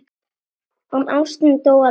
En ástin dó aldrei.